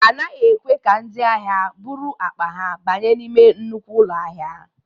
A naghị ekwe ka ndị ahịa buru akpa ha banye n'ime nnukwu ụlọ ahịa.